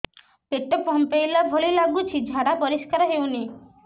ପେଟ ଫମ୍ପେଇଲା ଭଳି ଲାଗୁଛି ଝାଡା ପରିସ୍କାର ହେଉନି